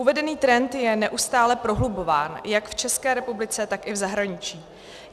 Uvedený trend je neustále prohlubován jak v České republice, tak i v zahraničí.